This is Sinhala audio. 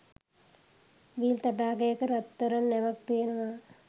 විල් තටාකයක රත්තරන් නැවක් තියෙනව